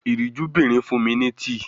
Ìríjúbìnrin fun mi ni tii.